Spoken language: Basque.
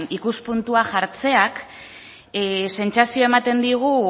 ikuspuntua jartzeak sentsazioa ematen digu